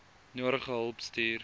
nodige hulp stuur